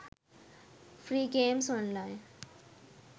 free games online